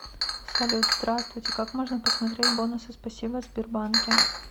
салют здравствуйте как можно посмотреть бонусы спасибо в сбербанке